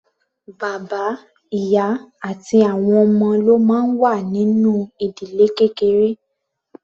Bàbá, ìyá àti àwọn ọmọ ló máa ń wà nínú ìdílé kékeré.